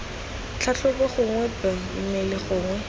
tlhatlhobo gongwe b mmele gongwe